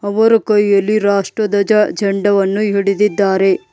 ಅವರು ಕೈಯಲ್ಲಿ ರಾಷ್ಟ್ರಧ್ವಜ ಜಂಡವನ್ನು ಹಿಡಿದಿದ್ದಾರೆ.